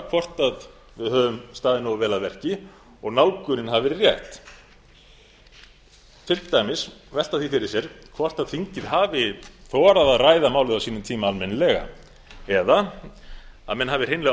hvort við höfum staðið nógu vel að verki og nálgunin verið rétt til dæmis gætum við velt fyrir okkur hvort þingið hafi þorað að ræða málið á sínum tíma almennilega eða að menn hafi hreinlega